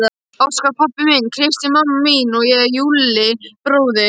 Óskar pabbi minn, Kristín mamma mín, ég og Júlli bróðir.